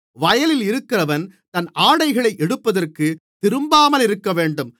வயலில் இருக்கிறவன் தன் ஆடைகளை எடுப்பதற்குத் திரும்பாமலிருக்கவேண்டும்